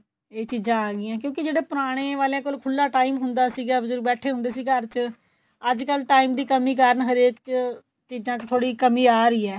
ਇਹ ਚੀਜ਼ਾਂ ਆ ਗਈਆਂ ਕਿਉਂਕਿ ਜਦੋਂ ਪੁਰਾਣੇ ਵਾਲੇਆ ਖੁੱਲਾ time ਹੁੰਦਾ ਸੀਗਾ ਬਜੁਰਗ ਬੈਠੇ ਹੁੰਦੇ ਸੀ ਘਰ ਚ ਅੱਜਕਲ time ਦੀ ਕੰਮੀ ਕਾਰਣ ਹਰੇਕ ਚ ਚੀਜ਼ਾਂ ਚ ਕਮੀ ਥੋੜੀ ਆ ਰਹੀ ਏ